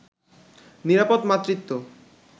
নিরাপদ মাতৃত্ব